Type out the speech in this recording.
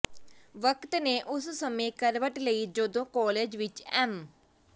ਵਕਤ ਨੇ ਉਸ ਸਮੇਂ ਕਰਵਟ ਲਈ ਜਦੋਂ ਕਾਲਜ ਵਿੱਚ ਐਮ